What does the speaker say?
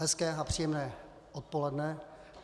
Hezké a příjemné odpoledne.